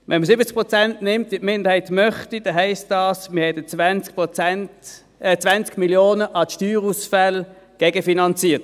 Wenn man 70 Prozent nimmt, wie die Minderheit das möchte, heisst das, man hat 20 Mio. Franken an Steuerausfällen gegenfinanziert.